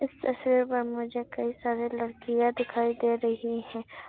तस्वीर पर मुझे कई सारी लड़कियां दिखाई दे रही है।